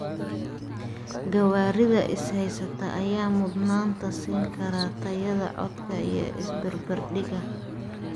Gawaarida is haysta ayaa mudnaanta siin kara tayada codka iyo isbarbardhigga.